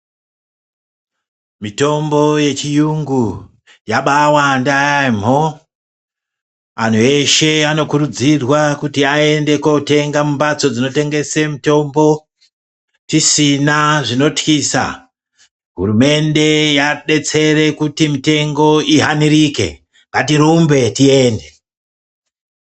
Mitombo yechiyungu, yabaawanda yaamho. Antu eshe anokurudzirwa kuti aende kotenga mumbatso dzinotengese mitombo, tisina zvinotyisa. Hurumende yadetsera kuti mitengo ihanirike, ngatirumbe tiende.